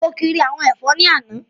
Mo kiri àwọn ẹ̀fọ́ ní àná